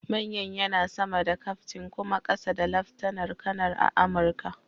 Manyan yana sama da kyaftin kuma ƙasa da laftanar kanar a Amurka.